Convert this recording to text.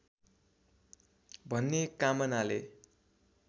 भन्ने कामनाले